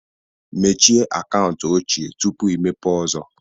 Mechie akaụntụ ochie tupu imepee ọzọ